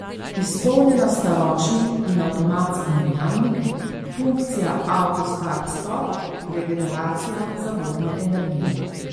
Izpopolnjena sta ročni in avtomatski menjalnik, funkcija auto start stop, regeneracija zavorne energije ...